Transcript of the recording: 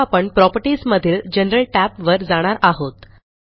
आता आपण प्रॉपर्टीज मधील जनरल tab वर जाणार आहोत